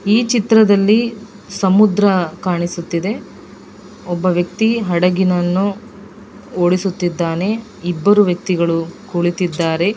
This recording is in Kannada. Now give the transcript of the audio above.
ಈ ಚಿತ್ರದಲ್ಲಿ ಸಮುದ್ರ ಕಾಣಿಸುತ್ತಿದೆ ಒಬ್ಬ ವ್ಯಕ್ತಿ ಹಡಗಿನನ್ನು ಓಡಿಸುತ್ತಿದ್ದಾನೆ ಇಬ್ಬರು ವ್ಯಕ್ತಿಗಳು ಕುಳಿತಿದ್ದಾರೆ.